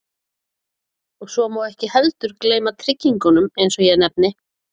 Og svo má ekki heldur gleyma tryggingunum eins og ég nefni.